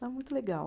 Muito legal.